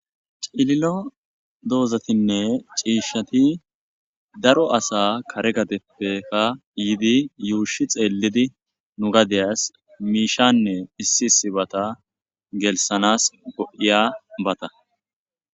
ciililo doozatinne ciishshati daro asa kare gadeppeka yidi yuushi xeellidi nu gadeyas miishanne issi sibata gelsanas go7iya bata